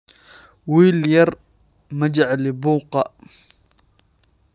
Wiil yar, ma jecli buuqa